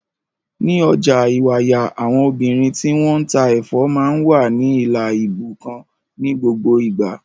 Ní ọjà Ìwàyà, àwọn obìnrin tí wọ́n ń ta ẹ̀fọ́ máa ń wà ní ìlà ibú kan ní gbogbo ìgbà.